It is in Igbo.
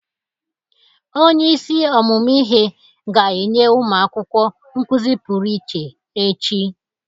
Onyeisi ọmụmụ ihe ga-enye ụmụ akwụkwọ nkụzị pụrụ iche echi.